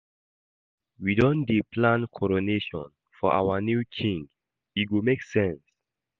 We don dey plan coronation for our new king, e go make sense.